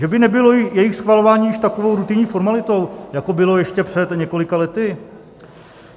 Že by nebylo jejich schvalování již takovou rutinní formalitou, jako bylo ještě před několika lety?